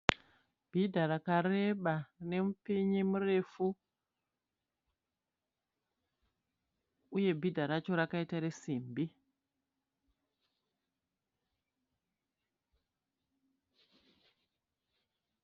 Bhidha rakareba rine mupinyi murefu uye bhidha racho rakaita resimbi.